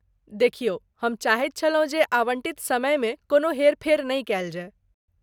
देखियौ, हम चाहैत छलहुँ जे आवंटित समयमे कोनो हेर फेर नहि कयल जाय।